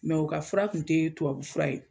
Mɛ u ka fura tun tɛ tubabu fura ye.